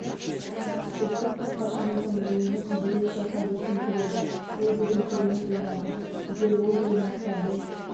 біздің қақпашымыздың ойынын ерекше атап өткім келеді ол бүгін керемет ойнады егер ол болмаса біз